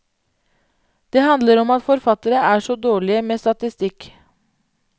Det handler om at forfattere er så dårlige med statistikk.